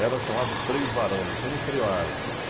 Era chamado freio varão, não tinha nem freio o bonde.